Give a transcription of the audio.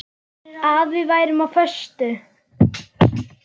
Að við værum á föstu.